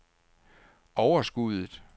overskuddet